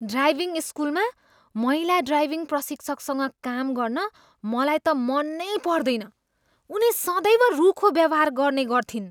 Driving स्कुलमा महिला driving प्रशिक्षकसँग काम गर्न मलाई त मन नै पर्दैन। उनी सदैव रूखो व्यवहार गर्ने गर्थिन्।